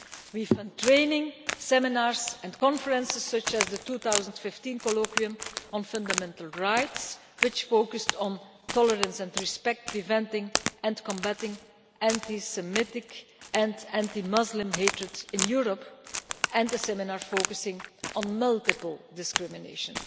We have run training, seminars and conferences such as the 2015 Colloquium on Fundamental Rights, which focused on tolerance and respect, preventing and combating anti Semitic and anti Muslim hatred in Europe, and the seminar focusing on multiple discrimination.